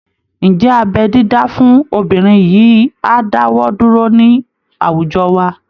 Ǹjẹ́ abẹ́ dídá fún obìnrin yìí á dáwọ́ dúró ní àwùjọ wa?